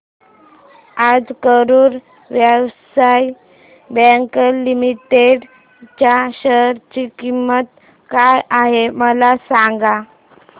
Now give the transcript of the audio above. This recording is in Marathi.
आज करूर व्यास्य बँक लिमिटेड च्या शेअर ची किंमत काय आहे मला सांगा